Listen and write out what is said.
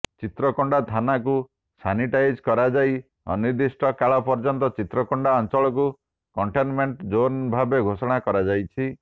ଚିତ୍ରକୋଣ୍ଡା ଥାନାକୁ ସାନିଟାଇଜ କରାଯାଇ ଅନିର୍ଦ୍ଦିଷ୍ଟ କାଳ ପର୍ଯ୍ୟନ୍ତ ଚିତ୍ରକୋଣ୍ଡା ଅଚଂଳକୁ କଟେଂନମେଟଂ ଜୋନଭାବେ ଘୋଷଣା କରାଯାଇଛି